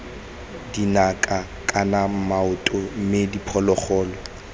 dinaka kana maoto mme diphologolo